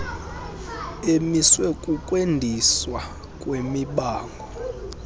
emiswe kukwandiswa kwemibango